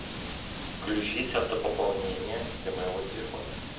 включить автопополнение для моего телефона